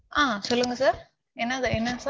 ஆஹ் சொல்லுங்க sir. என்னால என்ன?